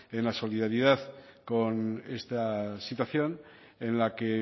en la solidaridad con esta situación en la que